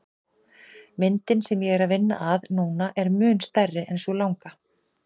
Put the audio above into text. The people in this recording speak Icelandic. Myndin sem ég er að vinna að núna er mun stærri en sú langa.